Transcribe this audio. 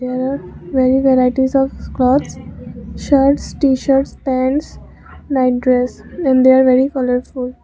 there are very varieties of clothes shirts tshirt pants night dress and they are very colourful.